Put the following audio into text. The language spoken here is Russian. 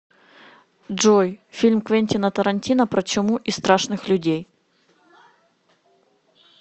джой фильм квентина тарантино про чуму и страшных людей